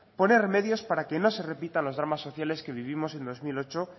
poner medios para que no se repitan los dramas sociales que vivimos en dos mil ocho